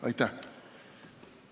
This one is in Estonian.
Aitäh!